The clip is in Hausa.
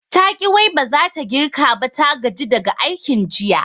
Taƙi wai baza ta girka ba, ta gaji daga aikin jiya